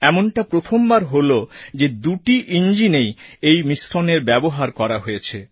এমনটা প্রথমবার হলো যে দুটি ইঞ্জিনেই এই মিশ্রণের ব্যবহার করা হয়েছে